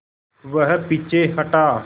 वह पीछे हटा